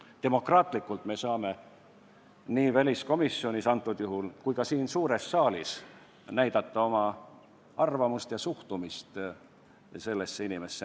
Me saame demokraatlikult, antud juhul nii väliskomisjonis kui ka siin suures saalis, näidata oma arvamust ja suhtumist sellesse inimesse.